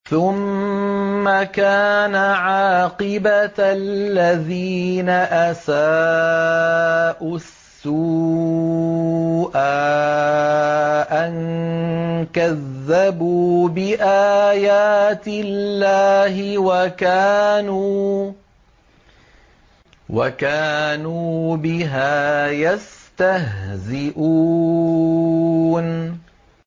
ثُمَّ كَانَ عَاقِبَةَ الَّذِينَ أَسَاءُوا السُّوأَىٰ أَن كَذَّبُوا بِآيَاتِ اللَّهِ وَكَانُوا بِهَا يَسْتَهْزِئُونَ